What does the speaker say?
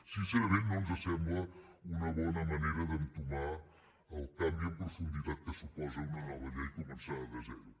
sincerament no ens assembla una bona manera d’entomar el canvi en profunditat que suposa una nova llei començada de zero